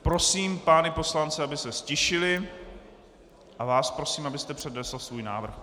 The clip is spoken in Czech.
Prosím pány poslance, aby se ztišili, a vás prosím, abyste přednesl svůj návrh.